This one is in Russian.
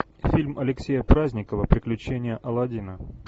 фильм алексея праздникова приключения аладдина